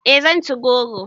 E zan ci goro